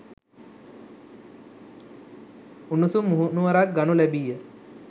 උණුසුම් මුහුණුවරක් ගනු ලැබිය.